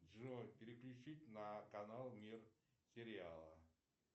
джой переключить на канал мир сериала